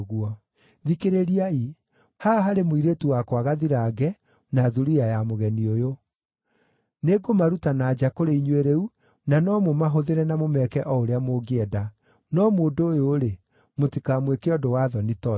Thikĩrĩriai, haha harĩ mũirĩtu wakwa gathirange, na thuriya ya mũgeni ũyũ. Nĩngũmaruta na nja kũrĩ inyuĩ rĩu, na no mũmahũthĩre na mũmeke o ũrĩa mũngĩenda. No mũndũ ũyũ-rĩ, mũtikamwĩke ũndũ wa thoni ta ũcio.”